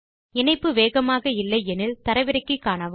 இணைப்பு வேகமாக இல்லை எனில் அதை தரவிறக்கி காணுங்கள்